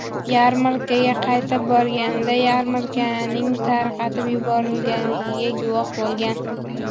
Yarmarkaga qaytib borganida yarmarkaning tarqatib yuborilganiga guvoh bo‘lgan.